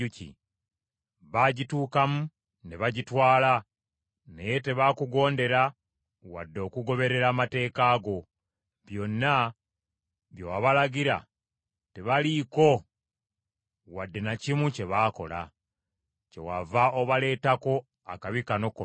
Baagituukamu ne bagitwala, naye tebaakugondera wadde okugoberera amateeka go, byonna bye wabalagira tebaliiko wadde na kimu kye baakola. Kyewava obaleetako akabi kano konna.